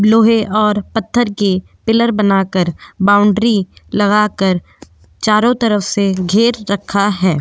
लोहे और पत्थर के पिलर बनाकर बाउंड्री लगाकर चारों तरफ से घेर रखा है।